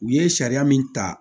U ye sariya min ta